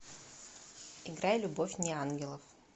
играй любовь неангелов